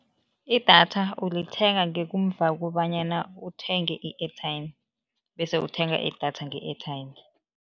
Idatha ulithenga ngekumva kobanyana uthenge i-airtime bese uthenga idatha nge-airtime.